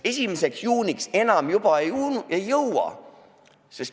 1. juuniks enam juba ei jõua.